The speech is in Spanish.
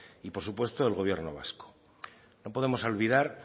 y por supuesto del gobierno vasco no podemos olvidar